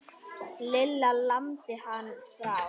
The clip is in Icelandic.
Lilla lamdi hann frá.